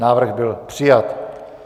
Návrh byl přijat.